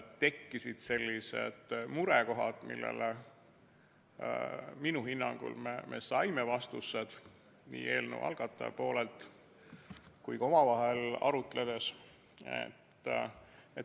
Tekkisid murekohad, millele me minu hinnangul saime vastused nii eelnõu algatajalt kui ka omavahel arutledes.